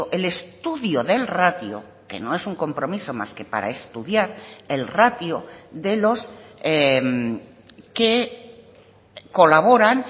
el estudio del ratio que no es un compromiso más que para estudiar el ratio de los que colaboran